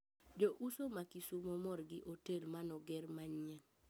Jo uso ma kisumo mor gi otel manoger manyien